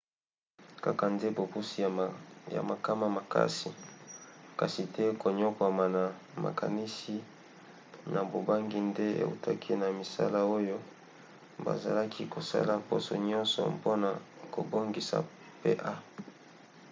kaka nde bopusi ya makama makasi kasi te koniokwama na makanisi na bobangi nde eutaki na misala oyo bazalaki kosala poso nyonso mpona kobongisa pa